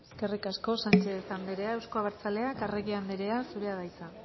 eskerrik asko sánchez andrea euzko abertzaleak arregi andrea zurea da hitza